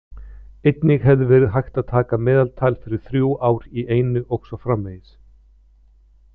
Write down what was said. Einnig hefði verið hægt að taka meðaltal fyrir þrjú ár í einu og svo framvegis.